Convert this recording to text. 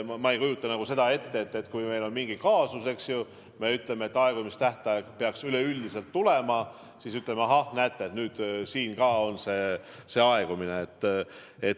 Ma ei kujuta ette, et meil on mingi kaasus, aegumistähtaeg peaks üleüldiselt kätte tulema ja siis me ütleme, et ah, näete, ka see aegub.